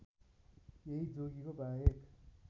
यही जोगीको बाहेक